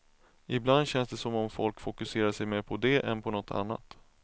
Ibland känns det som om folk fokuserar sig mer på det än något annat.